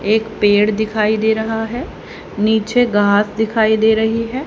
एक पेड़ दिखाई दे रहा है नीचे घास दिखाई दे रही है।